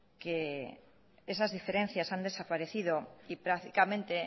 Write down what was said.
que esas diferencias han desaparecido y prácticamente